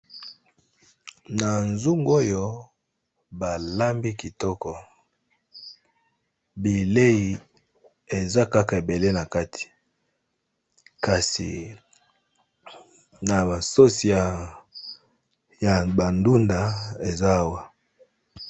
Na zungu oyo balambi kitoko bilei eza kaka ebele na kati kasi na basosi ya bandunda eza awa.